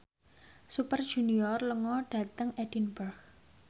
Super Junior lunga dhateng Edinburgh